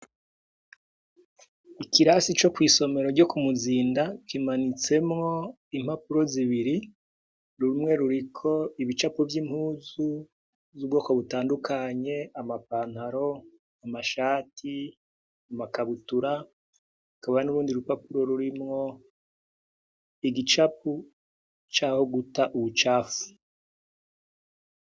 Ikirasi co mwisomero ryo kumuzinda, kimanitsemwo impapuro zibiri, hariho ibicapo vyi mpuzu butandukanye amapantaro amashati ,amakabutura harimwo igicapu caho guta imicafu.